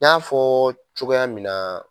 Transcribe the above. N y'a fɔ cogoya min na